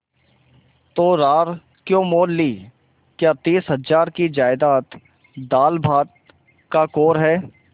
तो रार क्यों मोल ली क्या तीस हजार की जायदाद दालभात का कौर है